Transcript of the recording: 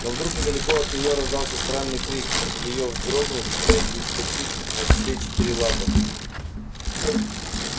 но вдруг недалеко от нее раздался странный крик её вздрогнуть и вскочить на все четыре лапы